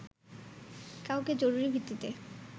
কাউকে জরুরী ভিত্তিতে